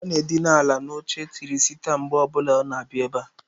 Ọ na-edina ala n'oche tịrị sita mgbe ọbuna ọ na-abịa ebe a.